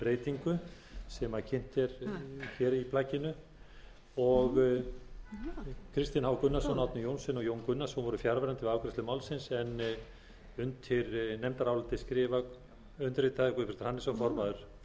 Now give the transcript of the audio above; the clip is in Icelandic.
breytingu sem kynnt er í nefndarálitinu kristinn h gunnarsson árni johnsen og jón gunnarsson voru fjarverandi við afgreiðslu málsins undir nefndarálitið skrifa undirritaður guðbjartur hannesson formaður félags og